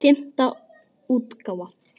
Fimmta útgáfa.